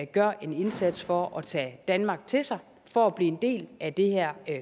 gør en indsats for at tage danmark til sig for at blive en del af det her